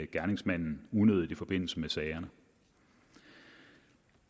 gerningsmanden unødigt i forbindelse med sager